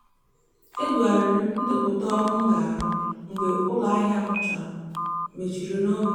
e degharịrị m ndepụta ọrụ m ga-arụ mgbe ụlọahịa m chọrọ mechiri n'oge